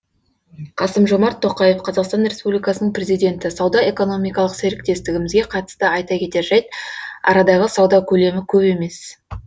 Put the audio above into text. қасым жомарт тоқаев қазақстан республикасының президенті сауда экономикалық серіктестігімізге қатысты айта кетер жайт арадағы сауда көлемі көп емес